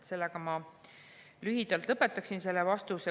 Sellega ma lühidalt lõpetaksin selle vastuse.